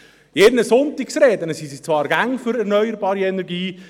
In ihren Sonntagsreden sind sie zwar immer für erneuerbare Energie.